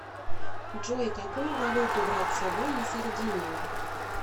джой какую валюту брать с собой на сардинию